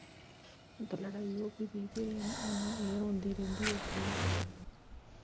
ਤੇ ਲੜਾਈ ਹੋਗੀ ਸੀ ਤੇ ਉਹਨਾਂ ਦੀ ਰੋਂਦੀ ਰਹਿੰਦੀ ਐ ਓੱਥੇ ਈ।